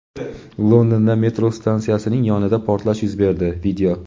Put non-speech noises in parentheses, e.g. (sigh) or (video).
Londonda metro stansiyasining yonida portlash yuz berdi. (video)